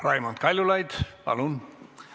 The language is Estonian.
Raimond Kaljulaid, palun!